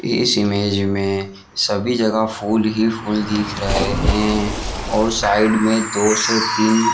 इस इमेज में सभी जगह फूल ही फूल दिख रहे हैं और साइड में दो से तीन--